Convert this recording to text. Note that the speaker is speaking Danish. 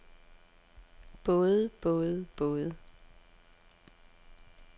både både både